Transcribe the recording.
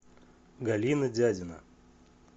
галина дядина